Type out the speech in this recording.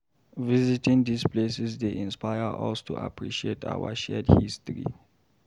Visiting these places dey inspire us to appreciate our shared history.